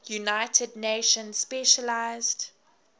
united nations specialized